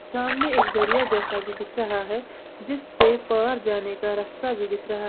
सामने एक दरिया जैसा भी दिख रहा है जीस पे पार जाने का रास्ता भी दिख रहा--